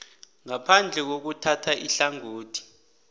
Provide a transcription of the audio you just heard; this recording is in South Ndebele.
ngaphandle kokuthatha ihlangothi